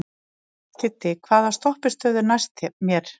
Kiddi, hvaða stoppistöð er næst mér?